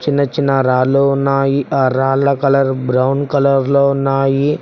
చిన్నచిన్న రాళ్లు ఉన్నాయి ఆ రాళ్ల కలర్ బ్రౌన్ కలర్ లో ఉన్నాయి.